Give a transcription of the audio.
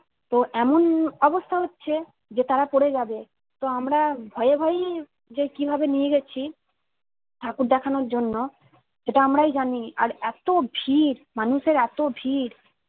তো এমন অবস্থা হচ্ছে যে তারা পড়ে যাবে, তো আমরা ভয়ে ভয়েই যে কিভাবে নিয়ে যাচ্ছি ঠাকুর দেখানোর জন্য সেটা আমরাই জানি আর এতো ভিড় মানুষের এতো ভিড়